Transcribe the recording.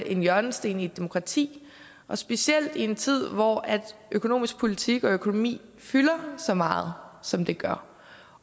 en hjørnesten i et demokrati specielt i en tid hvor økonomisk politik og økonomi fylder så meget som det gør